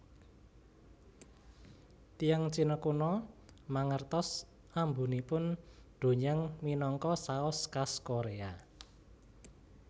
Tiyang Cina kuno mangertos ambunipun doenjang minangka saos khas Korea